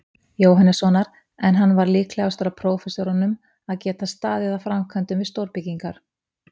Jóhannessonar, en hann var líklegastur af prófessorunum að geta staðið að framkvæmdum við stórbyggingar.